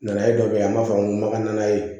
Nana ye dɔ bɛ an b'a fɔ an ko makanana ye